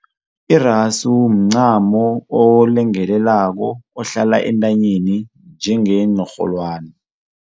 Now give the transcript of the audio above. Irasu mncamo olungelelako ohlala entanyeni njengeenrholwani.